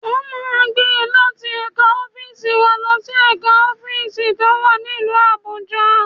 Wọ́n máa gbé e láti ẹ̀ka ọ́fíìsì wa lọ sí ẹ̀ka ọ́fíìsì tó wà nílùú Abuja